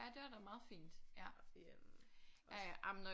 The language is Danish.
Ja det var da meget fint ja ja ja jamen når